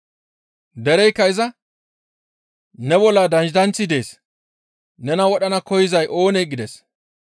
Dereykka iza, «Ne bolla daydanththi dees! Nena wodhana koyzay oonee?» gides.